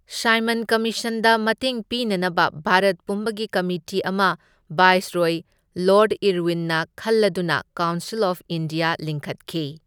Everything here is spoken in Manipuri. ꯁꯥꯏꯃꯟ ꯀꯃꯤꯁꯟꯗ ꯃꯇꯦꯡ ꯄꯤꯅꯅꯕ ꯚꯥꯔꯠꯄꯨꯝꯕꯒꯤ ꯀꯝꯃꯤꯇꯤ ꯑꯃ ꯚꯥꯏꯁꯔꯣꯢ ꯂꯣꯔꯗ ꯏꯔꯋꯤꯟꯅ ꯈꯜꯂꯗꯨꯅ ꯀꯥꯎꯟꯁꯤꯜ ꯑꯣꯐ ꯏꯟꯗꯤꯌꯥ ꯂꯤꯡꯈꯠꯈꯤ꯫